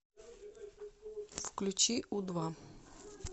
включи у два